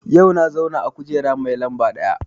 Yau na zauna a kujera mai lamba ɗaya